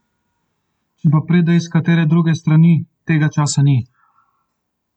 Če pa pride s katere druge strani, tega časa ni.